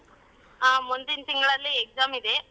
ಹ ಮುಂದಿನ್ ತಿಂಗಳಲ್ಲಿ exam ಇದೆ.